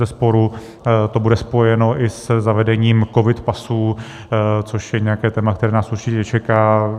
Bezesporu to bude spojeno i se zavedením covid pasů, což je nějaké téma, které nás určitě čeká.